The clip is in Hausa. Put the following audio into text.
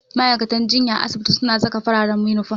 Ma'aikatan jinya a asibiti suna saka fararen inifom.